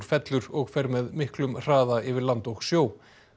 fellur og fer með miklum hraða yfir land og sjó